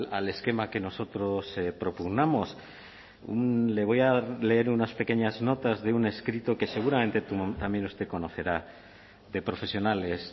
al esquema que nosotros propugnamos le voy a leer unas pequeñas notas de un escrito que seguramente también usted conocerá de profesionales